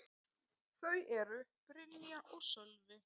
Þau eru: Brynja og Sölvi.